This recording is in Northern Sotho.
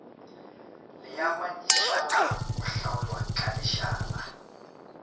leamanyišala go hlaolwa ka lešala